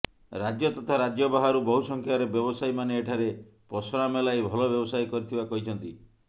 ରାଜ୍ୟ ତଥା ରାଜ୍ୟ ବାହାରୁ ବହୁସଂଖ୍ୟାରେ ବ୍ୟବସାୟୀ ମାନେ ଏଠାରେ ପସରା ମେଲାଇ ଭଲ ବ୍ୟବସାୟ କରିଥିବା କହିଛନ୍ତି